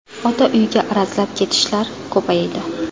Ota uyga arazlab ketishlar ko‘paydi.